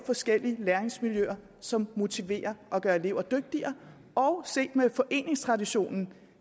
forskellige læringsmiljøer som motiverer og gør elever dygtigere og med foreningstraditionen